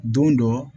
Don dɔ